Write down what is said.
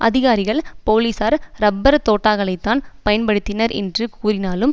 அதிகாரிகள் போலீசார் ரப்பர் தோட்டாக்களைத்தான் பயன்படுத்தினர் என்று கூறினாலும்